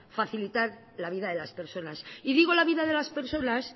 facilitar la vida de las personas y digo la vida de las personas